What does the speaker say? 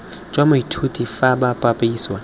jwa moithuti fa bo bapisiwa